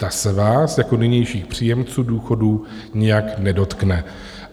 Ta se vás jako nynějších příjemců důchodů nijak nedotkne."